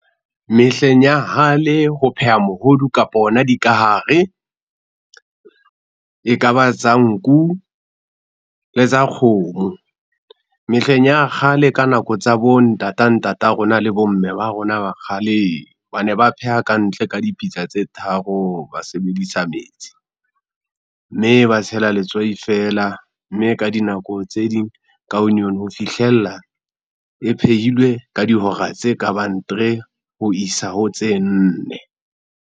Mehleng ya hale, ho pheha mohodu kapa ona dikahare, e kaba tsa nku le tsa kgomo. Mehleng ya kgale ka nako tsa bo ntata, ntata rona le bo mme ba rona ba kgaleng ba ne ba pheha ka ntle ka dipitsa tse tharo, ba sebedisa metsi. Mme ba tshela letswai feela mme ka dinako tse ding ka onion ho fihlella e phehilwe ka dihora tse kabang three ho isa ho tse nne.